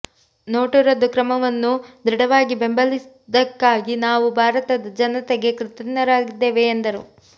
note ರದ್ದು ಕ್ರಮವನ್ನು ದೃಢವಾಗಿ ಬೆಂಬಲಿದ್ದಕ್ಕಾಗಿ ನಾವು ಭಾರತದ ಜನತೆಗೆ ಕೃತಜ್ಞರಾಗಿದ್ದೇವೆ ಎಂದರು